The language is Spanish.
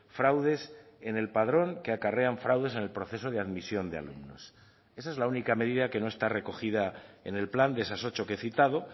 fraudes en el padrón que acarrean fraudes en el proceso de admisión de alumnos esa es la única medida que no está recogida en el plan de esas ocho que he citado